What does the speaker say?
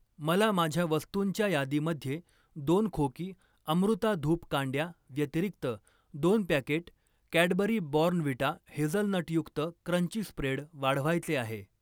मला माझ्या वस्तुंच्या यादीमध्ये दोन खोकी अमृता धूप कांड्या व्यतिरिक्त दोन पॅकेट कॅडबरी बॉर्नव्हिटा हेझलनटयुक्त क्रंची स्प्रेड वाढवायचे आहे.